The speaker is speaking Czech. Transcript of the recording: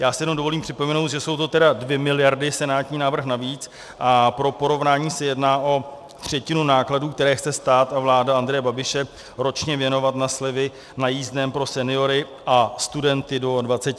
Já si jenom dovolím připomenout, že jsou to tedy dvě miliardy - senátní návrh navíc, a pro porovnání se jedná o třetinu nákladů, které chce stát a vláda Andreje Babiše ročně věnovat na slevy na jízdném pro seniory a studenty do 26 let.